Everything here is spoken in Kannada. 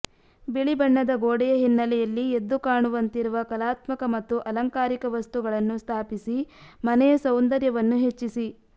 ಬಿಳಿ ಬಣ್ಣದ ಗೋಡೆಯ ಹಿನ್ನೆಲೆಯಲ್ಲಿ ಎದ್ದು ಕಾಣುವಂತಿರುವ ಕಲಾತ್ಮಕ ಮತ್ತು ಆಲಂಕಾರಿಕ ವಸ್ತುಗಳನ್ನು ಸ್ಥಾಪಿಸಿ ಮನೆಯ ಸೌಂದರ್ಯವನ್ನು ಹೆಚ್ಚಿಸಿ